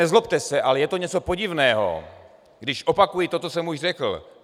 Nezlobte se, ale je to něco podivného, když opakuji to, co jsem už řekl.